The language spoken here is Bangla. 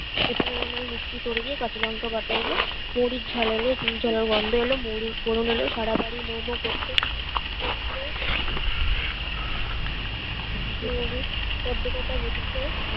এপারের রান্নায় মিষ্টি সরে গিয়ে কাঁচালঙ্কা বাটা এল বড়ির ঝাল এল চুইঝালের গন্ধ এলো মৌরীর ফোরণ এল সারাবাড়ি মো মো করতে